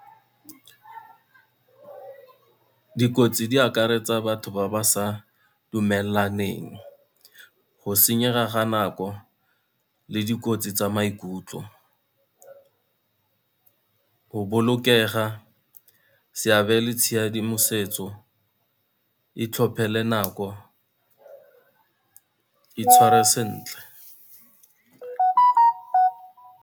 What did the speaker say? Dikotsi di akaretsa batho ba ba sa dumelaneng, go senyega ga nako le dikotsi tsa maikutlo, go bolokega, seabe le tshedimosetso, itlhophele nako, itshware sentle.